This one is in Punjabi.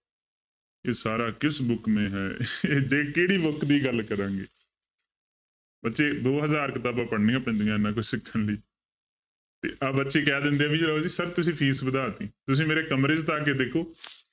ਇਹ ਸਾਰਾ ਕਿਸ book ਮੇ ਹੈ ਇਹ ਦੇਖ ਕਿਹੜੀ book ਦੀ ਗੱਲ ਕਰਾਂਗੇ ਬੱਚੇ ਦੋ ਹਜ਼ਾਰ ਕਿਤਾਬਾਂ ਪੜ੍ਹਨੀਆਂ ਪੈਂਦੀਆਂ ਇੰਨਾ ਕੁਛ ਸਿੱਖਣ ਲਈ ਤੇ ਆਹ ਬੱਚੇ ਕਹਿ ਦਿੰਦੇ ਆ ਵੀ sir ਤੁਸੀਂ fees ਵਧਾ ਦਿੱਤੀ, ਤੁਸੀਂ ਮੇਰੇ ਕਮਰੇ 'ਚ ਤਾਂ ਆ ਕੇ ਦੇਖੋ